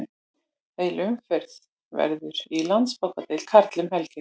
Heil umferð verður í Landsbankadeild karla um helgina.